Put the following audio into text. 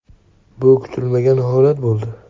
Bu kutilmagan holat bo‘ldi.